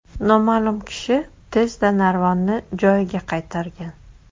Noma’lum kishi tezda narvonni joyiga qaytargan.